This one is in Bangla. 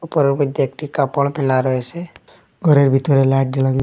গরের মইদ্যে একটি কাপড় ফেলা রয়েসে গরের ভিতরে লাইট জ্বালানি --